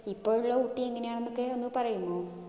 ഇപ്പോ ഉള്ള ഊട്ടി എങ്ങിനെയെന്നൊക്കെ ഒന്ന് പറയുമോ?